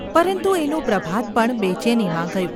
પરંતુ એનું પ્રભાત પણ બેચેનીમાં ગયું.